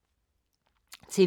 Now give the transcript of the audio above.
TV 2